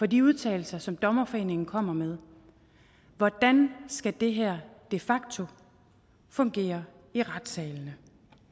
de udtalelser som dommerforeningen kommer med hvordan skal det her de facto fungere i retssalene